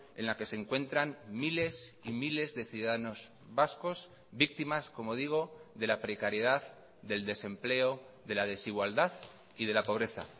en la que se encuentran miles y miles de ciudadanos vascos víctimas como digo de la precariedad del desempleo de la desigualdad y de la pobreza